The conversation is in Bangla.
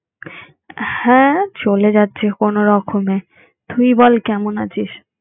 হ্যাঁ চলে যাচ্ছে কোনো রকমে তুই বল কেমন আছিস?